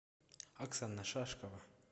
оксана шашкова